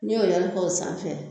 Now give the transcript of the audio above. N'i y'o yɛlkɔ o sanfɛ